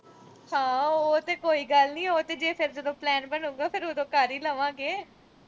ਹਾਂ ਉਹ ਤੇ ਕੋਈ ਗੱਲ ਨੀਂ, ਉਹ ਤੇ ਜਦੋਂ plan ਬਣੂਗਾ, ਉਦੋਂ ਫਿਰ ਕਰ ਈ ਲਵਾਂਗੇ।